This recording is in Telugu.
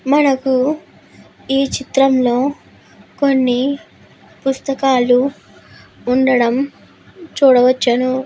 మనము ఈ చిత్రంలో కొన్ని పుస్తకాలు ఉండడం చూడవచ్చును.